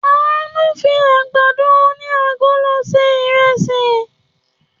Àánú fi àgbàdo oní agolo se ìrẹsì.